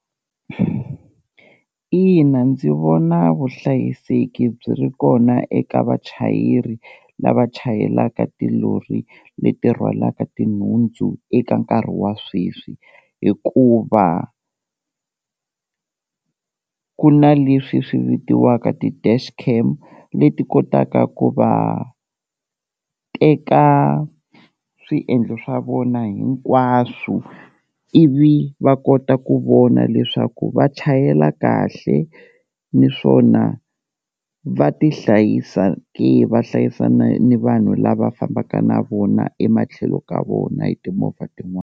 Ina ndzi vona vuhlayiseki byi ri kona eka vachayeri lava chayelaka tilori leti rhwalaka tinhundzu eka nkarhi wa sweswi, hikuva ku na leswi swi vitiwaka ti-dash cam leti kotaka ku va teka swiendlo swa vona hinkwaswo ivi va kota ku vona leswaku va chayela kahle niswona va ti hlayisa ke va hlayisana ni vanhu lava fambaka na vona ematlhelo ka vona hi timovha tin'wana.